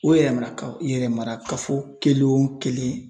O yɛrɛmara ka yɛrɛmarakafo kelen o kelen